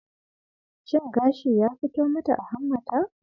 Shin gashi ya fito mata a hammata?